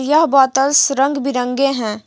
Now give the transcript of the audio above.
यह बोतल्स रंग बिरंगे है।